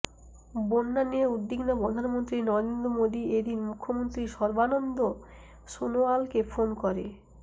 বন্যা নিয়ে উদ্বিগ্ন প্রধানমন্ত্রী নরেন্দ্র মোদী এ দিন মুখ্যমন্ত্রী সর্বানন্দ সোনোয়ালকে ফোন করে